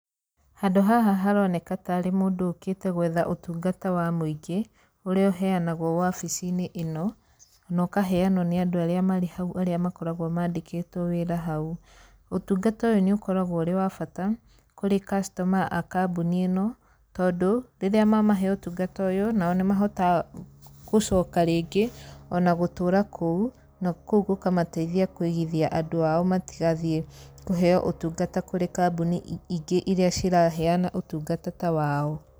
Handũ haha haroneka tarĩ mũndũ ũkĩte gwetha ũtungata wa mũingĩ, ũrĩa ũheanagwo wabici-inĩ ĩno, na ũkaheanwo nĩ andũ arĩa marĩ hau arĩa makoragwo mandĩkĩtwo wĩra hau. Ũtungata ũyũ nĩ ũkoragwo ũrĩ wa bata kũrĩ customer a kambuni ĩno, tondũ, rĩrĩa mamahe ũtungata ũyũ, nao nĩ mahotaga gũcoka rĩngĩ ona gũtũũra kũu, na kũu gũkamateithia kũigithia andũ ao nĩ getha matigathiĩ kũheo ũtungata kũrĩ kambuni ingĩ irĩa ciraheana ũtungata ta wao.